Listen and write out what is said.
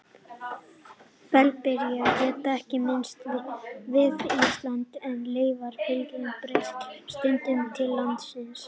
Fellibyljir geta ekki myndast við Ísland, en leifar af fellibyljum berast stundum til landsins.